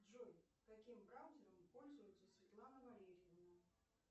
джой каким браузером пользуется светлана валерьевна